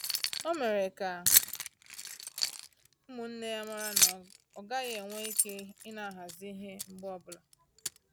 Ọ mere ka ụmụnne ya mara na-ọ gaghị enwe ike ina ahazi ihe mgbe ọbụla